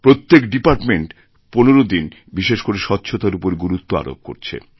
প্রত্যেক ডিপার্টমেন্ট ১৫ দিন বিশেষ করে স্বচ্ছতার উপর গুরুত্ব আরোপ করছে